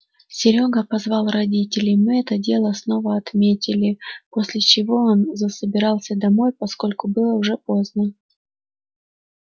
серёга позвал родителей мы это дело снова отметили после чего он засобирался домой поскольку было уже поздно